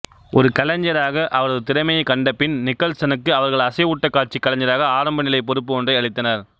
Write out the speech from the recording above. ஒரு கலைஞராக அவரது திறமையைக் கண்டபின் நிக்கல்சனுக்கு அவர்கள் அசைவூட்டக் காட்சி கலைஞராக ஆரம்ப நிலை பொறுப்பு ஒன்றை அளித்தனர்